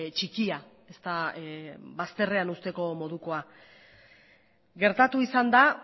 txikia ez da bazterrean uzteko modukoa gertatu izan da